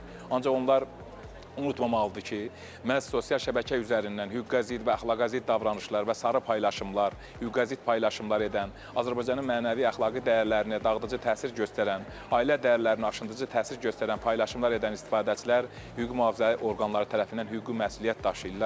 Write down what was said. Ancaq onlar unutmamalıdır ki, məhz sosial şəbəkə üzərindən hüquqa zidd və əxlaqa zidd davranışlar və sarı paylaşımlar, hüquqa zidd paylaşımlar edən, Azərbaycanın mənəvi-əxlaqi dəyərlərinə dağıdıcı təsir göstərən, ailə dəyərlərinə aşındırıcı təsir göstərən paylaşımlar edən istifadəçilər hüquq-mühafizə orqanları tərəfindən hüquqi məsuliyyət daşıyırlar.